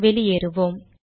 வெளியேறுவோம்